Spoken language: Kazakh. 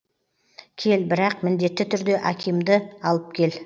кел бірақ міндетті түрде акимды алып кел